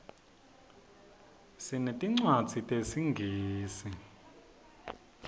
sinetincwadzi tesingisi